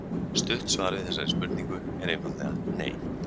Stutt svar við þessari spurningu er einfaldlega nei!